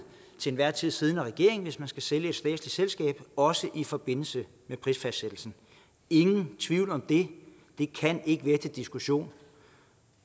til enhver tid siddende regering hvis man skal sælge et statsligt selskab også i forbindelse med prisfastsættelsen ingen tvivl om det det kan ikke være til diskussion